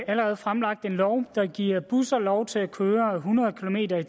allerede fremlagt en lov der giver busser lov til at køre hundrede kilometer